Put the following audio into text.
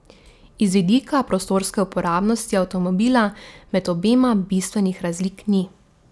Iz vidika prostorske uporabnosti avtomobila med obema bistvenih razlik ni.